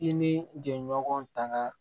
I ni jɛɲɔgɔn tanga